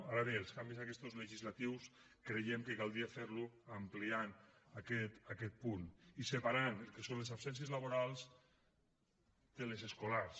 ara bé els canvis aquests legislatius creiem que caldria fer los ampliant aquest punt i separant el que són les absències laborals de les escolars